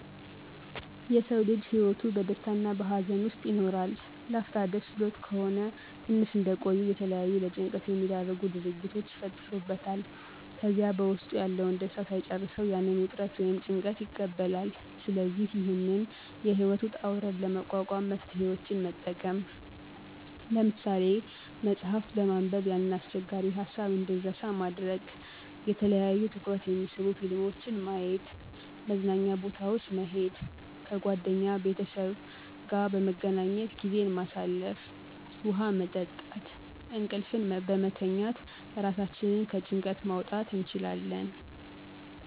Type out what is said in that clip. የሰዉ ልጅ ህይወቱ በደስታ እና በሀዘን ዉስጥ ይኖራል, ላፍታ ደስ ብሎት ከሆነ ትንሽ እንደቆዩ የተለያዩ ለጭንቀት የሚዳርጉ ድርጊቶች ይፈጠሩበታል ከዚያ በዉስጡ ያለዉን ደስታ ሳይጨርሰዉ ያንን ዉጥረት ወይም ጭንቀት ይቀበላል ስለዚህ ይህንን የህይወት ዉጣ ዉረድ ለመቋቋም መፍትሄወችን መጠቀም። ለምሳሌ፦ መፅሐፍት በማንበብ ያንን አስቸጋሪ ሀሳብ እንድንረሳ ማድረግ፣ የተለያዩ ትኩረት የሚስቡ ፊልሞችን ማየት፣ መዝናኛ ቦታወች መሄድ፣ ከጓደኛ ቤተሰብ ጋአ በመገናኘት ጊዜን ማሳለፍ፣ ዉሀ መጠጣት፣ እንቅልፍን በመተኛት ራሳችንን ከጭንቀት ማዉጣት እንችላለን።